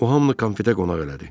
O hamını konfetə qonaq elədi.